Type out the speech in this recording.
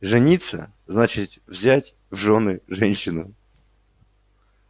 жениться значит взять в жены женщину